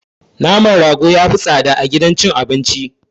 Naman rago yafi tsada a gidan cin abinci.